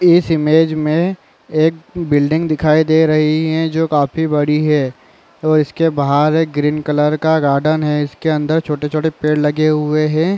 इस इमेज में एक बिल्डिंग दिखाई दे रही है जो काफी बड़ी है और इस के बाहर एक ग्रीन कलर का गार्डन है इस के अंदर छोटे-छोटे पेड़ लगे हुए है।